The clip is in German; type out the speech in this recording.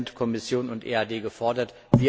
Da sind Kommission und EAD gefordert.